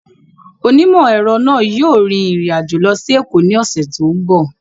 Onímọ̀-ẹ̀rọ náà yóò rin ìrìn àjò lọ sí Èkó ní ọ̀sẹ̀ tó ń bọ̀